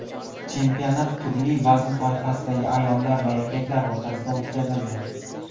Chempionat turli vazn toifasidagi ayollar va erkaklar o‘rtasida o‘tkazildi.